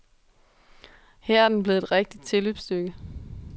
Her er den blevet et rigtigt tilløbsstykke.